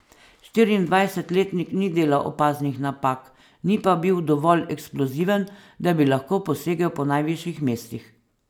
Štiriindvajsetletnik ni delal opaznih napak, ni pa bil dovolj eksploziven, da bi lahko posegel po najvišjih mestih.